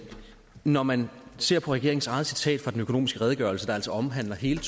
når man ser på regeringens eget citat fra den økonomiske redegørelse der altså omhandler hele